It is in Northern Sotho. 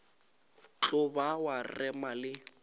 tlo ba wa rema le